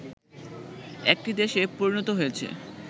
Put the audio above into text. একটি দেশে পরিণত হয়েছে